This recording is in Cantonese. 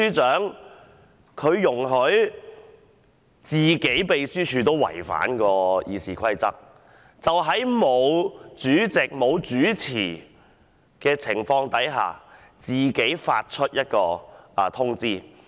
他竟容許秘書處違反《議事規則》，在未獲主席指示的情況下自行發出通知。